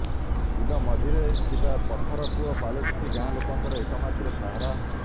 ବିଲ ମଝିରେ ଥିବା ପଥର କୂଅ ପାଲଟିଛି ଗାଁଲୋକଙ୍କ ଏକମାତ୍ର ସାହାରା